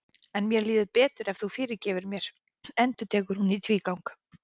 En mér líður betur ef þú fyrirgefur mér, endurtekur hún í tvígang.